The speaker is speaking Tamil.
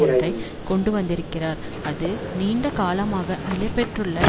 ஒன்றை கொண்டு வந்திருக்கிறார் அது நீண்ட காலமாக நிலை பெற்றுள்ள